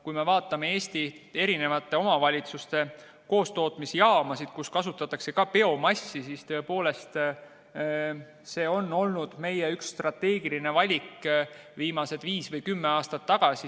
Kui me vaatame Eesti omavalitsuste koostootmisjaamasid, kus kasutatakse ka biomassi, siis see on olnud üks meie strateegilisi valikuid viis või kümme aastat tagasi.